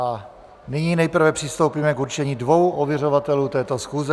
A nyní nejprve přistoupíme k určení dvou ověřovatelů této schůze.